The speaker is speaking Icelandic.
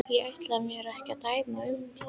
Ég ætla mér ekki að dæma um það.